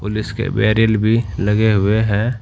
Police के barrier भी लगे हुए हैं।